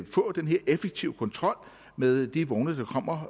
få den her effektive kontrol med de vogne der kommer